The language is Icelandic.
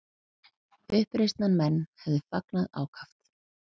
Uppreisnarmenn hefðu fagnað ákaft